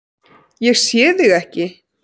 Ég sé þig ekki.